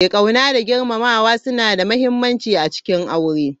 Ƙauna da girmamawa suna da muhimmanci a cikin aure.